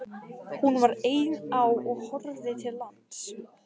Hún var ein á og horfði til lands.